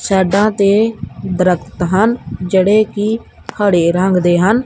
Side ਤੇ ਦਰਖਤ ਹਨ ਜਿਹੜੇ ਕਿ ਹਰੇ ਰੰਗ ਦੇ ਹਨ।